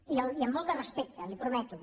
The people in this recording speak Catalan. i amb molt de respecte li ho prometo